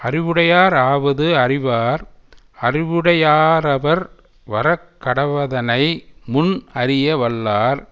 அறிவுடையார் ஆவது அறிவார் அறிவுடையாரவர் வர கடவதனை முன் அறிய வல்லார்